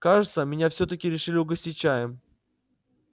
кажется меня всё-таки решили угостить чаем